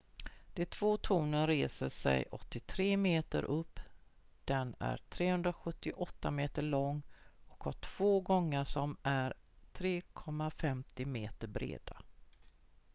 de två tornen reser sig 83 meter upp den är 378 meter lång och har två gångar som är 3,50 meter breda